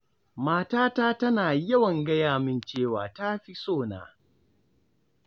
Matata tana yawan gaya min cewa ta fi so na